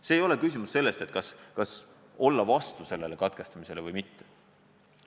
Praegu ei ole küsimus selles, kas olla vastu sellele katkestamisele või mitte.